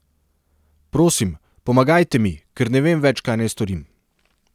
Prosim, pomagajte mi, ker ne vem več, kaj naj storim.